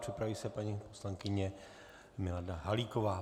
Připraví se paní poslankyně Milada Halíková.